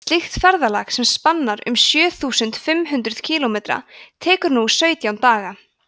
slíkt ferðalag sem spannar um sjö þúsund fimm hundruð kílómetra tekur nú sautján daga